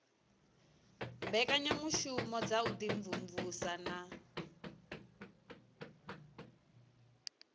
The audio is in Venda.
mbekanyamushumo dza u imvumvusa na